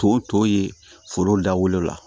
To to yen foro la